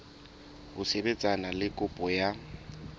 ho sebetsana le kopo ya